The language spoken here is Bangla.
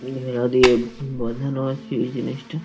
ঘেরা দিয়ে বাঁধানো আছে এই জিনিসটা।